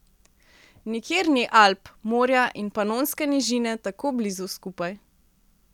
Nikjer ni Alp, morja in Panonske nižine tako blizu skupaj.